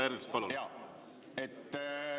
Härra Ernits, palun!